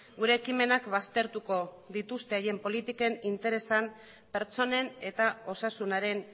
gure ekimenak baztertuko dituzte haien politiken interesak pertsonen eta osasunaren